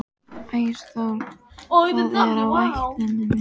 Ásþór, hvað er á áætluninni minni í dag?